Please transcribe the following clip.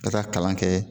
Ka taa kalan kɛ